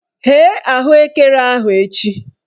Ghee ahụekere ahụ echi!